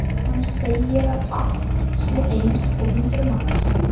Hún segir að Páll sé eins og hundrað manns.